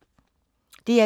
DR1